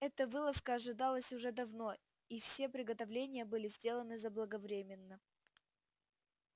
эта вылазка ожидалась уже давно и все приготовления были сделаны заблаговременно